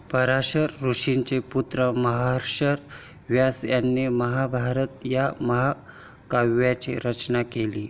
पराशर ऋषींचे पुत्र महर्षी व्यास यांनी महाभारत या महाकाव्याची रचना केली.